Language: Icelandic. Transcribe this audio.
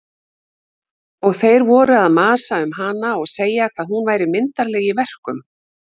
Og þeir voru að masa um hana og segja hvað hún væri myndarleg í verkum.